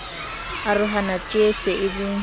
arohana tjeee se e le